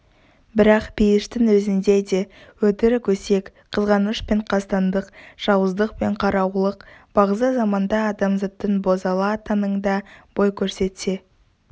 бірақ пейіштің өзінде де өтірік-өсек қызғаныш пен қастандық жауыздық пен қараулық бағзы заманда адамзаттың бозала таңында бой көрсетсе